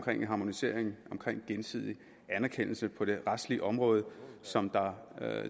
harmonisering og gensidig anerkendelse på det retslige område som